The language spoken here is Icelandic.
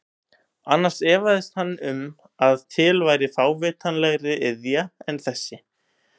Annars efaðist hann um að til væri fávitalegri iðja en þessi.